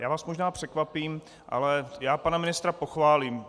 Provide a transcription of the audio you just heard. Já vás možná překvapím, ale já pana ministra pochválím.